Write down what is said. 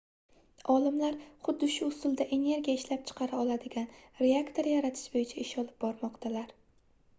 olimlar xuddi shu usulda energiya ishlab chiqara oladigan reaktor yaratish boʻyicha ish olib bormoqdalar